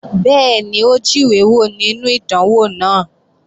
Bẹ́ẹ̀ni, ó jíwé wò nínú ìdánwò náà